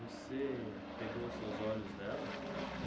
Você pegou os seus olhos dela?